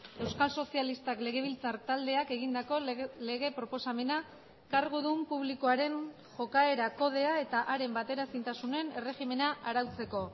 euskal sozialistak legebiltzar taldeak egindako lege proposamena kargudun publikoaren jokaera kodea eta haren bateraezintasunen erregimena arautzeko